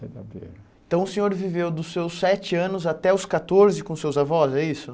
Então o senhor viveu dos seus sete anos até os catorze com seus avós, é isso?